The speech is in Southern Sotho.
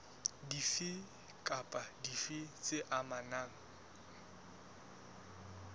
dife kapa dife tse amanang